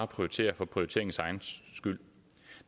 prioritere for prioriteringens egen skyld